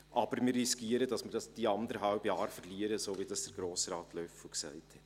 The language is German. Allerdings riskieren wir, dass wir die anderthalb Jahre verlieren, so wie es Grossrat Löffel gesagt hat.